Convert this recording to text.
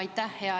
Aitäh!